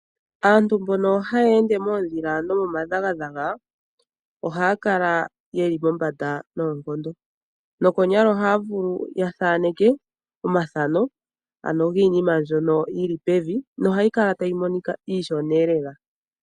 Aantu mbono haya ende moondhila nomo madhagadhaga ohaya kala yeli mombanda noonkondo, nokonyala ohaya vulu ya thaaneke omathano ano giinima mbyono yili pevi, nohayi kala tayi monika iishoneelela.